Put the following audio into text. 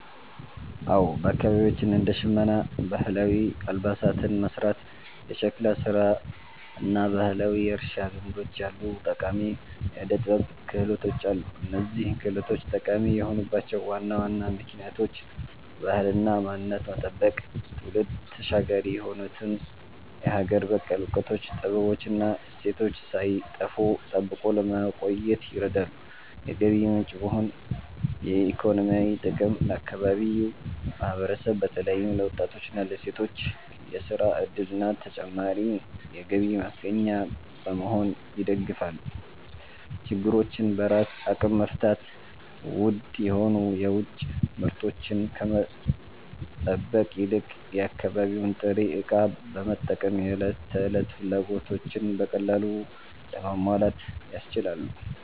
አዎ፣ በአካባቢያችን እንደ ሸመና (ባህላዊ አልባሳትን መሥራት)፣ የሸክላ ሥራ እና ባህላዊ የእርሻ ልምዶች ያሉ ጠቃሚ የዕደ-ጥበብ ክህሎቶች አሉ። እነዚህ ክህሎቶች ጠቃሚ የሆኑባቸው ዋና ዋና ምክንያቶች፦ ባህልንና ማንነትን መጠበቅ፦ ትውልድ ተሻጋሪ የሆኑትን የሀገር በቀል እውቀቶች፣ ጥበቦች እና እሴቶች ሳይጠፉ ጠብቆ ለማቆየት ይረዳሉ። የገቢ ምንጭ መሆን (ኢኮኖሚያዊ ጥቅም)፦ ለአካባቢው ማህበረሰብ በተለይም ለወጣቶችና ለሴቶች የሥራ ዕድልና ተጨማሪ የገቢ ማስገኛ በመሆን ይደግፋሉ። ችግሮችን በራስ አቅም መፍታት፦ ውድ የሆኑ የውጭ ምርቶችን ከመጠበቅ ይልቅ የአካባቢውን ጥሬ ዕቃ በመጠቀም የዕለት ተዕለት ፍላጎቶችን በቀላሉ ለማሟላት ያስችላሉ።